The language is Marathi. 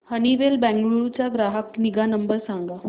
हनीवेल बंगळुरू चा ग्राहक निगा नंबर सांगा